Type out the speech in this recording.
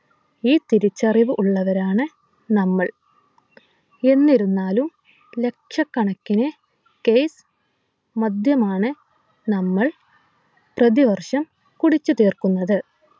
ഈ തിരിച്ചറിവ് ഉള്ളവരാണ് നമ്മൾ എന്നിരുന്നാലും ലക്ഷക്കണക്കിന് case മദ്യമാണ് നമ്മൾ പ്രതിവർഷം കുടിച്ചു തീർക്കുന്നത്